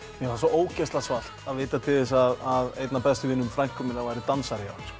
mér fannst svo ógeðslega svalt að vita til þess að einn af bestu vinum frænku minnar væri dansari